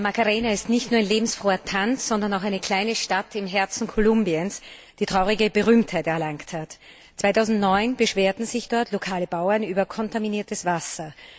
La Macarena ist nicht nur ein lebensfroher Tanz, sondern auch eine kleine Stadt im Herzen Kolumbiens, die traurige Berühmtheit erlangt hat. 2009 beschwerten sich dort lokale Bauern über kontaminiertes Wasser.